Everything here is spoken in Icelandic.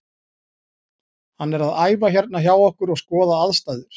Hann er að æfa hérna hjá okkur og skoða aðstæður.